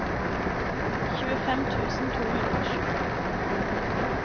tjuefem tusen to hundre og sju